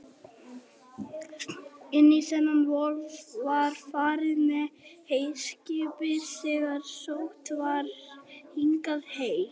Hún á heima í Hafnarfirði.